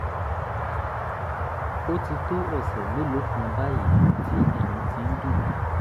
ó ti tó ọ̀sẹ̀ mélòó kan báyìí tí eyín ti ń dùn mí